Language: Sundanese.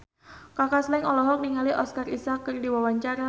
Kaka Slank olohok ningali Oscar Isaac keur diwawancara